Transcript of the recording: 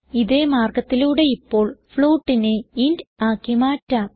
ഇതേ മാർഗത്തിലൂടെ ഇപ്പോൾ floatനെ ഇന്റ് ആക്കി മാറ്റാം